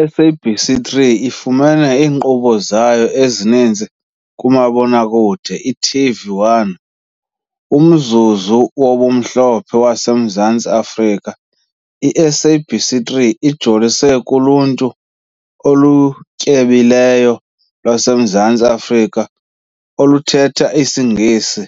I-SABC3 ifumene iinkqubo zayo ezininzi kumabonakude i-TV1, umzuzu "wobumhlophe" wase Mzantsi Afrika. I-SABC 3 ijolise kuluntu olutyebileyo lwaseMzantsi Afrika oluthetha isiNgesi,